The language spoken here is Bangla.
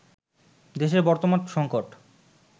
দেশের বর্তমান সংকট